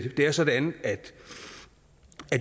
er sådan at